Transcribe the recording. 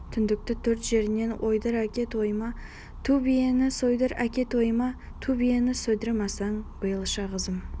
түндікті төрт жерінен ойдыр әке тойыма ту биені сойдыр әке тойыма ту биені сойдырмасаң биылша қызым